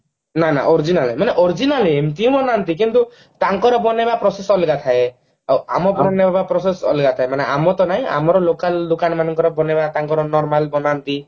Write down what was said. original ମାନେ original ମାନେ ଏମତି ବନାନ୍ତି କିନ୍ତୁ ତାଙ୍କର ବନେଇବା process ଅଲଗା ଥାଏ ଆଉ ଆମ ବନେଇବା process ଅଲଗା ଥାଏ ମାନେ ଆମର ତ ନାଇଁ ଆମର local ଦୋକାନ ମାନଙ୍କର ବନେଇବା ତାଙ୍କର normal ବନାନ୍ତି